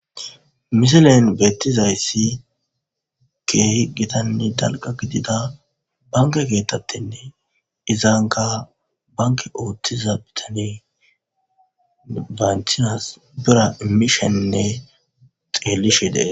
Misilen bettizayssi keehi gittanne dalgga gidida banke keta tenne izankka bankke ootiza biittaney asawu biirra iimishenne xellishe de'es